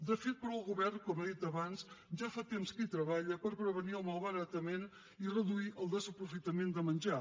de fet el govern com he dit abans ja fa temps que treballa per prevenir el malbaratament i reduir el desaprofitament de menjar